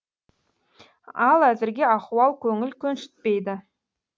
ал әзірге ахуал көңіл көншітпейді